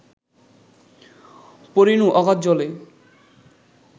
পড়িনু অগাধ জলে